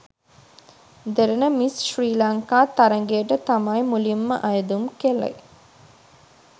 දෙරණ miss Sri Lanka තරගයට තමයි මුලින්ම අයදුම් කළේ.